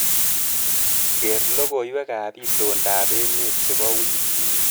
Ker logoiwekab itondab emet chebo wikini.